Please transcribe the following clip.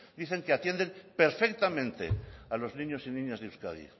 dicen que atienden perfectamente a los niños y niñas de euskadi